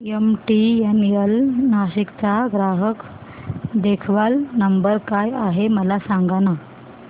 MTNL Nashik चा ग्राहक देखभाल नंबर काय आहे मला सांगाना